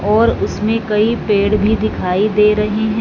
और उसमें कई पेड़ भी दिखाई दे रहे हैं।